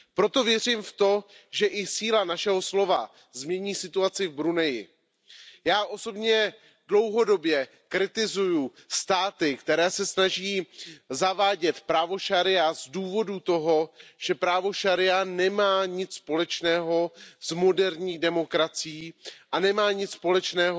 Proto věřím v to, že i síla našeho slova změní situaci v Bruneji. Já osobně dlouhodobě kritizuji státy, které se snaží zavádět právo šaría z důvodu toho, že právo šaría nemá nic společného s moderní demokracií a nemá nic společného